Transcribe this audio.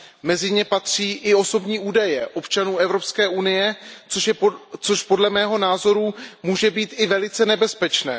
Mezi ně patří i osobní údaje občanů Evropské unie, což podle mého názoru může být i velice nebezpečné.